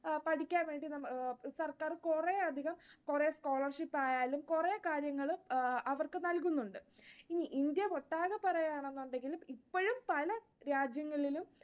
പഠിക്കാൻ വേണ്ടി സർക്കാർ കുറെയധികം കുറെ scholarship ആയാലും കുറെ കാര്യങ്ങൾ അവർക്ക് നൽകുന്നുണ്ട്. ഇനി ഇന്ത്യ ഒട്ടാകെ പറയാണെന്നുണ്ടെങ്കിലും ഇപ്പഴും പല രാജ്യങ്ങളിലും